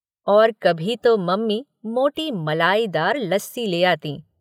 कभी तो मम्मी मोटी मलाईदार लस्सी ले आतीं।